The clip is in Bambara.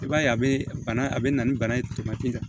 I b'a ye a bɛ bana a bɛ na ni bana ye tamati ka